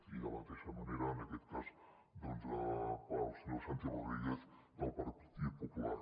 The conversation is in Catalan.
i de la mateixa manera en aquest cas doncs al senyor santi rodríguez del partit popular